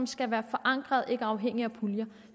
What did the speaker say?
skal være forankrede og ikke afhængige af puljer